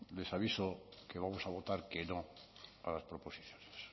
les aviso que vamos a votar que no a las proposiciones